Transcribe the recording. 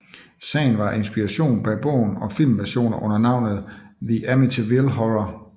Sagen var inspirationen bag bogen og filmversioner under navnet The Amityville Horror